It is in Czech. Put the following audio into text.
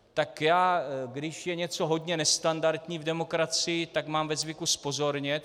Tak já, když je něco hodně nestandardní v demokracii, tak mám ve zvyku zpozornět.